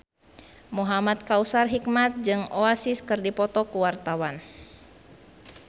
Muhamad Kautsar Hikmat jeung Oasis keur dipoto ku wartawan